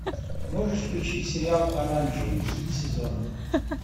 можешь включить сериал оранжевый хит сезона